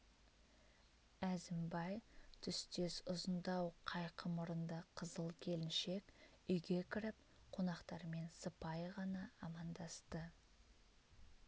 әзімбай түстес ұзындау қайқы мұрынды қызыл келіншек үйге кіріп қонақтармен сыпайы ғана амандасты